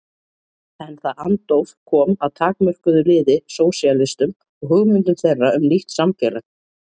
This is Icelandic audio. En það andóf kom að takmörkuðu liði sósíalistum og hugmyndum þeirra um nýtt samfélag.